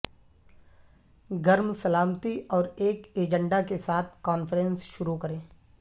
گرم سلامتی اور ایک ایجنڈا کے ساتھ کانفرنس شروع کریں